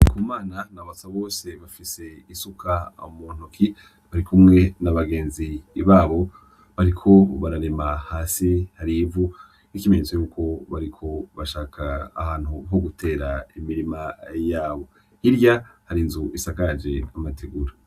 Ndikumana na Basabose bafise isuka mu ntoki, barikumwe na bagenzi babo bariko bararima hasi hari ivu nk'ikimenyetso yuko bariko bashaka ahantu ho gutera imirima yabo, hirya hari inzu isagaraje amategura.